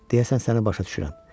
Deyəsən səni başa düşürəm.